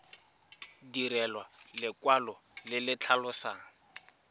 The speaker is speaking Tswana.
direlwa lekwalo le le tlhalosang